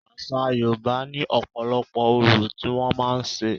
Àṣa Yorùbá ní ọ̀pọ̀lọpọ̀ orò tí wọ́n màá ń ṣe.